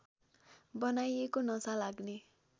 बनाइएको नशा लाग्ने